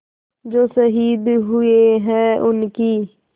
जो शहीद हुए हैं उनकी